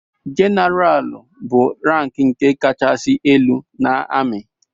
jeneral bụ rank nke kachasị elu n’ami